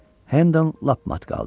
Hendon lap mat qaldı.